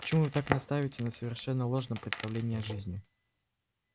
почему вы так настаиваете на совершенно ложном представлении о жизни